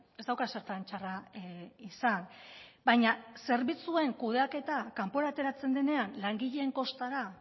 ez dauka zertan txarra izan baina zerbitzuen kudeaketa kanpora ateratzen denean langileen kostara